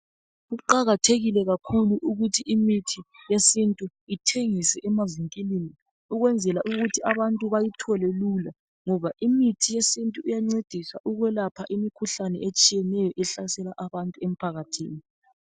Kuqakathekile kakhulu ukuthi imithi yesintu ithengiswe emavinkilini ukwenzela ukuthi abantu bayithole lula ngoba imithi yesintu iyancedisa ukwelapha imikhuhlane etshiyeneyo ehlasela abantu emphakathini